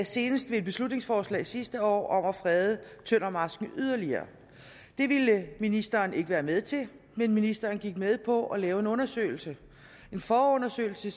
senest ved et beslutningsforslag sidste år om at frede tøndermarsken yderligere det ville ministeren ikke være med til men ministeren gik med på at lave en undersøgelse en forundersøgelse